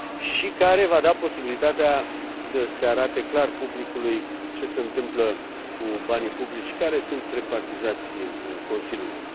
și care va da posibilitatea să se arate clar publicului ce se întâmplă cu banii publici care sunt repartizați Consiliului.